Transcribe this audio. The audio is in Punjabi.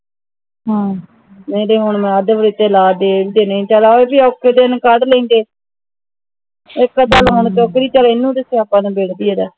ਹਾਂ ਮੇਰੇ ਹੁਣ ਚਲ ਇਹੋਜੇ ਔਖੇ ਦਿਨ ਕੜ ਲੈਂਦੇ ਇਕ ਅੱਧਾ loan ਜੋਗਰ ਹੀ ਚੱਲ ਇਹਨੂੰ ਦਿਸਿਆ ਆਪਾ ਨੂੰ ਵਥੇਰਾ ਹਾ